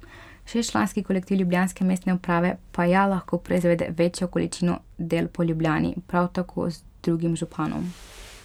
Šestčlanski kolektiv ljubljanske mestne uprave pa ja lahko proizvede večjo količino del po Ljubljani, prav tako z drugim županom.